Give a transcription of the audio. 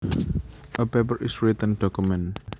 A paper is a written document